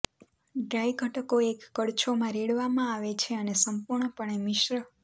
dry ઘટકો એક કડછો માં રેડવામાં આવે છે અને સંપૂર્ણપણે મિશ્ર